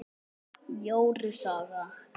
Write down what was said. Jóru saga